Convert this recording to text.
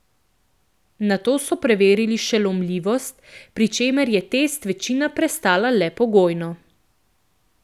Nato so preverili še lomljivost, pri čemer je test večina prestala le pogojno.